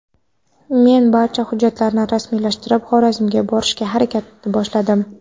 Men barcha hujjatlarni rasmiylashtirib, Xorazmga borishga harakatni boshladim.